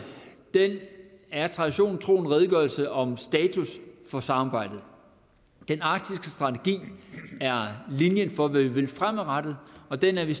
er traditionen tro en redegørelse om status for samarbejdet den arktiske strategi er linjen for hvad vi vil fremadrettet og den er vi